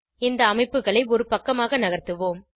இந்த அமைப்புகளை ஒரு பக்கமாக நகர்த்துவோம்